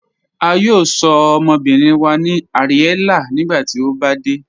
A yóò sọ̀ ọmọbìrín wa ní Ariella nígbàtí o bá dẹ̀.